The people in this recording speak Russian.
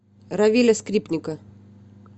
равиля скрипника